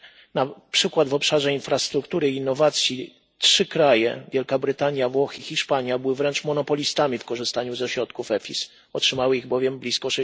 Na przykład w obszarze infrastruktury i innowacji trzy kraje, Wielka Brytania, Włochy i Hiszpania, były wręcz monopolistami w korzystaniu ze środków EFIS, otrzymały ich bowiem blisko